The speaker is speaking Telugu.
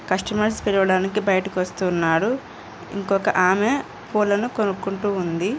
కస్టమర్స్ పిలవడానికి బైటికి వస్తున్నారు ఇంకొక ఆమె పూలను కొనుకుంటూ ఉంది.